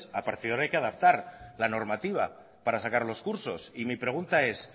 a partir de ahora hay que adaptar la normativa para sacar los cursos y mi pregunta es